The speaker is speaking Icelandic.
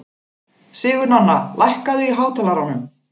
Sigurnanna, lækkaðu í hátalaranum.